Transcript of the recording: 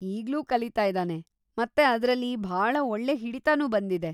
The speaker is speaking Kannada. ಈಗ್ಲೂ ಕಲೀತಾ ಇದಾನೆ ಮತ್ತೆ ಅದ್ರಲ್ಲಿ ಭಾಳ ಒಳ್ಳೆ ಹಿಡಿತಾನೂ ಬಂದಿದೆ.